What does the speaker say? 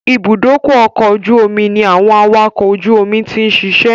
Ìbúdókọ̀ ọ̀kọ̀ ojú omi ní àwọn awakọ̀ ojú omi ti ń ṣiṣẹ́